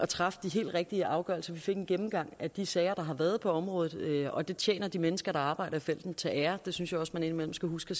træffe de helt rigtige afgørelser vi fik en gennemgang af de sager der har været på området og det tjener de mennesker der arbejder i felten til ære det synes jeg også man indimellem skal huske